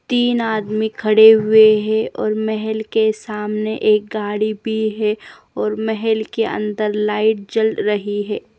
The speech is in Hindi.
तीन आदमी खड़े हुए हैं और महल के सामने एक गाड़ी भी है और महल के अंदर लाइट जल रही है।